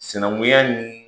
Sinankunya nii